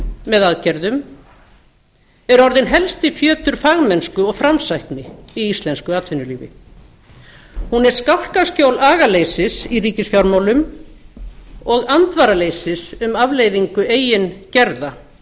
með aðgerðum er orðinn helsti fjötur fagmennsku og framsækni í íslensku atvinnulífi án er skálkaskjól agaleysis í ríkisfjármálum og andvaraleysis um afleiðingu eigin gerða